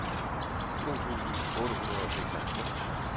to tusind otte hundrede og seksoghalvfems